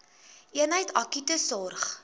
eenheid akute sorg